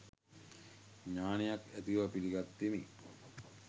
ඥානයක් ඇති බව පිළිගත්තෙමි.